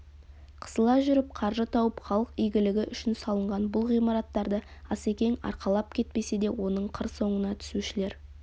қысыла жүріп қаржы тауып халық игілігі үшін салынған бұл ғимараттарды асекең арқалап кетпесе де оның қыр соңына түсушілер